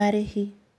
Marĩhi: